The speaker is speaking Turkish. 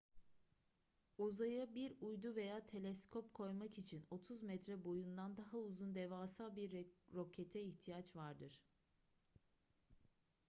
uzaya bir uydu veya teleskop koymak için 30 metre boyundan daha uzun devasa bir rokete ihtiyaç vardır